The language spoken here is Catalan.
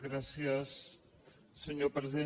gràcies senyor president